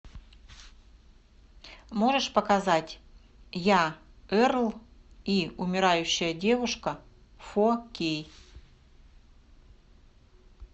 можешь показать я эрл и умирающая девушка фо кей